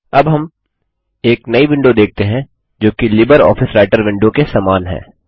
अब हम एक नई विंडो देखते हैं जो कि लिबरऑफिस राइटर विंडो के समान है